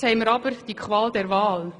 Jetzt haben wir aber die Qual der Wahl.